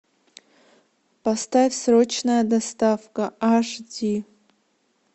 поставь срочная доставка аш ди